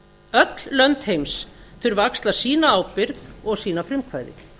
öll lönd heims þurfa að axla sína ábyrgð og sýna frumkvæði